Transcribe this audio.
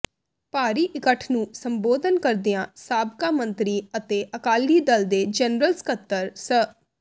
ਭਾਰੀ ਇਕੱਠ ਨੂੰ ਸੰਬੋਧਨ ਕਰਦਿਆਂ ਸਾਬਕਾ ਮੰਤਰੀ ਅਤੇ ਅਕਾਲੀ ਦਲ ਦੇ ਜਨਰਲ ਸਕਤਰ ਸ